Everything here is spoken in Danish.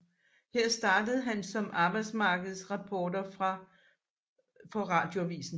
Her startede han som arbejdsmarkedsreporter for Radioavisen